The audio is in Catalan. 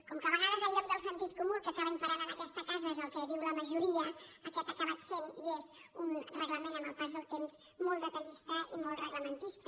com que a vegades al lloc del sentit comú el que acaba imperant en aquesta casa és el que diu la majoria aquest ha acabat sent i és un reglament amb el pas del temps molt detallista i molt reglamentista